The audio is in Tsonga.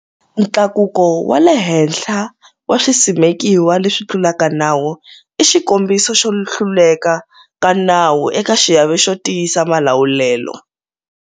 Ntlakuko wa le henhla wa swisimekiwa leswi tlulaka nawu i xikombiso xo hluleka ka nawu eka xiave xo tiyisa malawulelo.